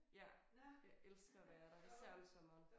Ja jeg elsker at være der især om sommeren